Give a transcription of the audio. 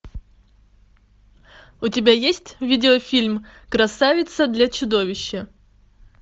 у тебя есть видеофильм красавица для чудовища